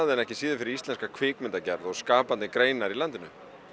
ekki síður fyrir íslenska kvikmyndagerð og skapandi greinar í landinu